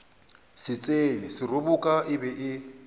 setšhene seroboka e be e